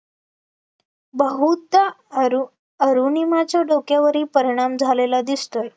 बहुधा अरुणिमाच्या डोक्यावरही परिणाम झालेला दिसतोय